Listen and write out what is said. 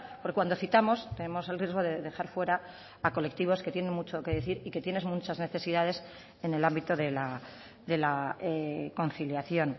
porque cuando citamos tenemos el riesgo de dejar fuera a colectivos que tienen mucho que decir y que tienen muchas necesidades en el ámbito de la conciliación